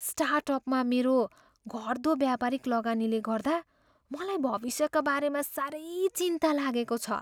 स्टार्टअपमा मेरो घट्दो व्यापारिक लगानीले गर्दा मलाई भविष्यका बारेमा साह्रै चिन्ता लागेको छ।